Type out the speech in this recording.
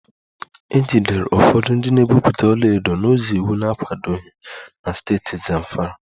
E jidere ụfọdụ ndị na-egwupụta ọlaedo n'ụzọ iwu na-akwadoghị na steeti Zamfara